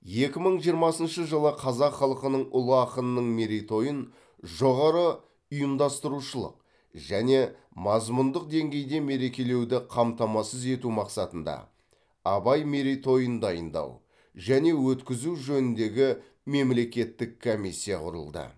екі мың жиырмасыншы жылы қазақ халқының ұлы ақынының мерейтойын жоғары ұйымдастырушылық және мазмұндық деңгейде мерекелеуді қамтамасыз ету мақсатында абай мерейтойын дайындау және өткізу жөніндегі мемлекеттік комиссия құрылды